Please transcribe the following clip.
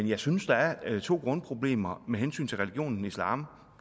jeg synes der er to grundproblemer med hensyn til religionen islam